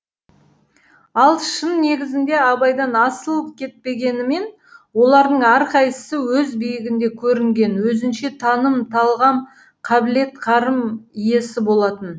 ал шын негізінде абайдан асып кетпегенімен олардың әрқайсысы өз биігінде көрінген өзінше таным талғам қабілет қарым иесі болатын